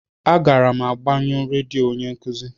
A gara'm agbe nyo redio onye nkuzi.